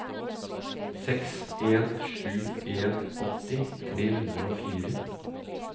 seks en sju en åtti tre hundre og fire